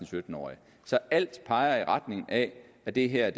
sytten årige så alt peger i retning af at det her